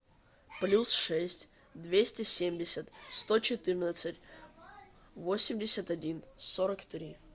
плюс шесть двести семьдесят сто четырнадцать восемьдесят один сорок три